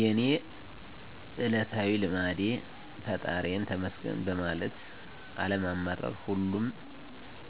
የእኔ እለታዊ ልማዴ ፈጣሪየን ተመስገን ማለት አለማማረር ሁሉም